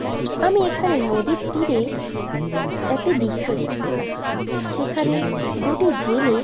আমি এখানে নদীর তীরে একটি দৃশ্য দেখতে পাচ্ছি। সেখানে দুটি জেলে--